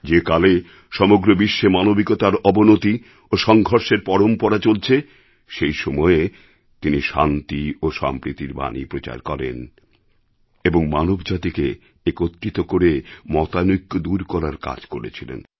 যে কালে সমগ্র বিশ্বে মানবিকতার অবনতি ও সংঘর্ষের পরম্পরা চলছে সেই সময়ে তিনি শান্তি ও সম্প্রীতির বাণী প্রচার করেন এবং মানবজাতিকে একত্রিত করে মতানৈক্য দূর করার কাজ করেছিলেন